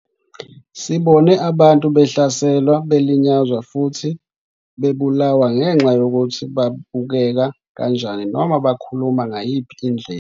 Sibone abantu behlaselwa, belinyazwa futhi bebulawa ngenxa yokuthi babukeka kanjani noma bakhuluma ngayiphi indlela.